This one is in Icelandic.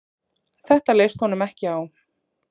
Þetta leist honum ekki á.